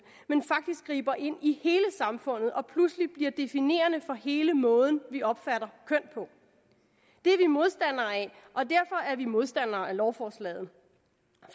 men faktisk griber ind i hele samfundet og pludselig bliver definerende for hele måden vi opfatter køn på det er vi modstandere af og vi modstandere af lovforslaget